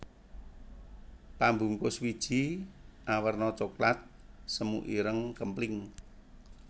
Pambungkus wiji awerna coklat semu ireng kempling